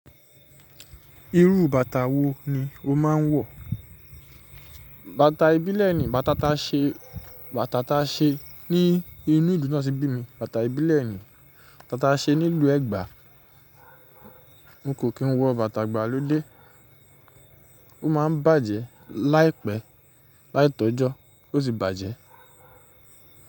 Irú bàtà wo ni o máa ń wọ̀? Bàtà ìbílẹ̀ ni, bàtà ta ṣe, bàtà ta ṣe ní inú ìlú tanti bími, bàtà ìbílẹ̀ ni. Bàtà taṣe nílùú Ẹgba. N kò kí n wọ bàtà ìgbàlódé. Ó máa ń bàjẹ́ láìpẹ́, láì tọ́jọ́ ó sì bàjẹ́.